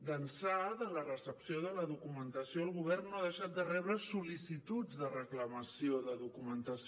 d’ençà de la recepció de la documentació el govern no ha deixat de rebre sol·licituds de reclamació de documentació